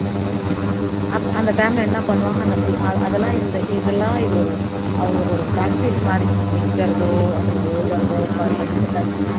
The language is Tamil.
அப்ப அந்த time ல என்ன பண்ணுவாங்க அந்த அதெல்லாம் இந்த இதெல்லாம் இது ஒரு அவங்க ஒரு practice மாதிரி நிக்கறதோ அதுல எழுதறதோ சகிப்புத்தன்மை